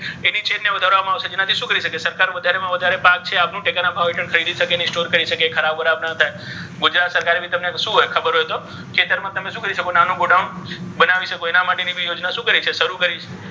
જે આપણે શું? આપણે ખ્યાલ હોવું જોઈએ. પછી additional storage capacity for farm produce farm. Produce મતલબ જે આપણી ખેતકીય પેદાશો છે પાક છે તેને સંગ્રહ કરવા માટે શું કરવામાં આવશે? ભંડારા ગૃહ છે storage house એને બનાવવામાં આવશે. right?